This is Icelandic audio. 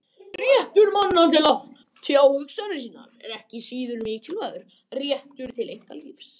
Réttur manna til að tjá hugsanir sínar er ekki síður mikilvægur en rétturinn til einkalífs.